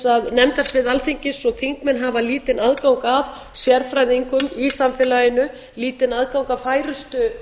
að nefndasvið alþingis og þingmenn hafa lítinn aðgang að sérfræðingum í samfélaginu lítinn aðgang að færustu